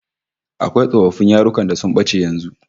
Akwai tsofaffin yarukan da sun bace yanzu